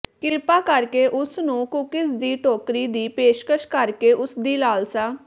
ਕ੍ਰਿਪਾ ਕਰਕੇ ਉਸ ਨੂੰ ਕੂਕੀਜ਼ ਦੀ ਟੋਕਰੀ ਦੀ ਪੇਸ਼ਕਸ਼ ਕਰਕੇ ਉਸ ਦੀ ਲਾਲਸਾ